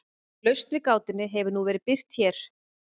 lausn við gátunni hefur nú verið birt hér